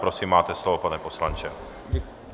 Prosím, máte slovo, pane poslanče.